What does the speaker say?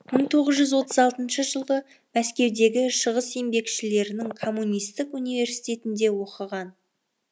мың тоғыз жүз отыз алтыншы жылы мәскеудегі шығыс еңбекшілерінің коммунистік университетінде оқыған